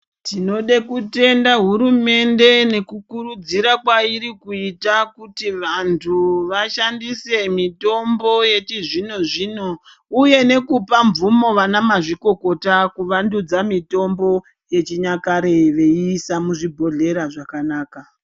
Tinoda kutenda hurumende nekukurudzira kwairi kuita kuti vantu vashandise mitombo yechizvino zvino uye nekupa mvumo ana mazvikokota kuvandudza mitombo yechinyakare veisa muzvibhodhlera zvakanaka .